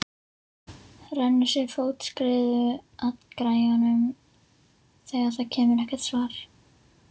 Rennir sér fótskriðu að græjunum þegar það kemur ekkert svar.